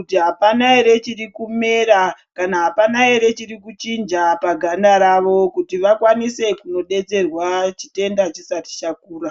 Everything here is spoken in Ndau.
kuti apana ere chiri kumera kana hapana ere chiri kuchinja paganda ravo kuti vakwanise kunodetserwa chitenda chisati chakura.